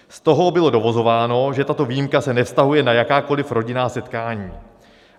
Z toho bylo dovozováno, že tato výjimka se nevztahuje na jakákoliv rodinná setkání.